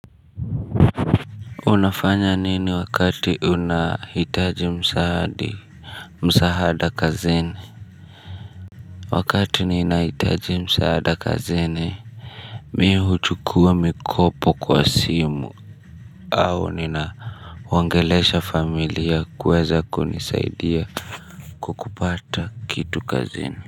Unafanya nini wakati unahitaji msaadi. Musahada kazini wakati nina hitaji msaada kazini mihu chukua mikopo kwa simu au nina wangeleesha familia kuweza kunisaidia kukupata kitu kazini.